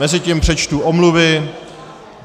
Mezitím přečtu omluvy.